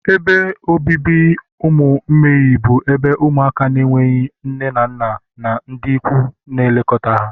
ebe obibi ụmụ mgbei bụ ebe ụmụaka na-enweghị nne na nna na ndị ikwu na-elekọta ha